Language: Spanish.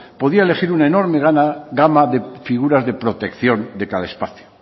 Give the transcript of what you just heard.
podía elegir una enorme gama de figuras de protección de cada espacio